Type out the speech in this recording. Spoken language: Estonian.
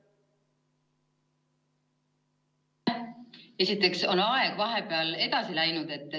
Esiteks on aeg vahepeal edasi läinud.